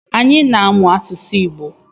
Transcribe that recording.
Anyị na-amụ asụsụ Igbo